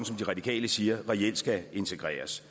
de radikale siger reelt skal integreres